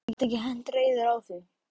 Gat ekki hent reiður á því.